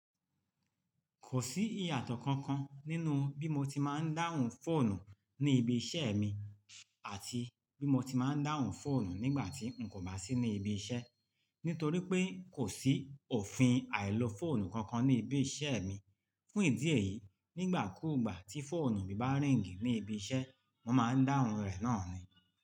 Kò sí ìyàtọ̀ kankan nínú bí mo ti máa ń dáhùn fóònù ní ibi iṣẹ́ mi àti bí mo ti máa ń dáhùn fóònù nígbà tí n kò bá sí ní ibi iṣẹ́. Nítorí pé kò sí òfin àìlo fóònù kankan ní ibi iṣẹ́ mi. Fún ìdí èyí, nígbà ku ìgbà tí fóònù mi bá rìng ní ibi iṣẹ́, mo máa ń dáhùn rẹ̀ náà ni.